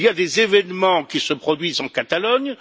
Il y a des événements qui se produisent en Catalogne.